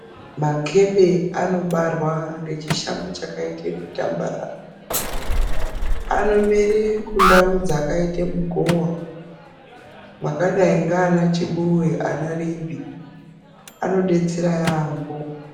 Makebe anobarwa ngechishango chakaite kutambarara anomera kundau dzakaite kugowa mwakadai ndaana Chibuwe nana Rimbi anobetsera yaamho.